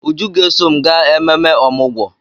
Uju ga-eso m gaa ememe ọmụgwọ.